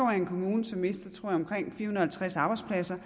er en kommune som mister omkring fire hundrede og halvtreds arbejdspladser